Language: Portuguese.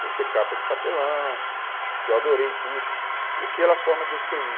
Por ser capa de papelão, que eu adorei tudo, e pela forma que eu escrevi.